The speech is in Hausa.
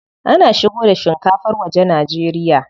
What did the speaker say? Ana shigo da shinkafar waje Najeriya.